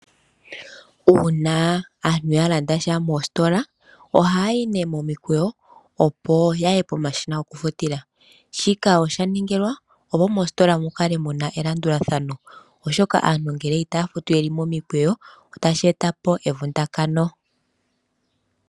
Uuna aantu ya landasha mositola aantu ohaya yi momikwewo opo yaye pomashina gokufutila, shika oshaningilwa opo mositola mukale muna elanduladhano oshoka aantu ngele itafutu yeli momikwewo otashi eta po evundakano.